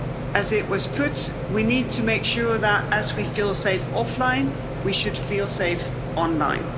As it was put, we need to make sure that as we feel safe offline we should feel safe online.